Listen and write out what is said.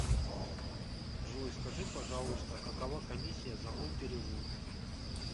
джой скажи пожалуйста какова комиссия за мой перевод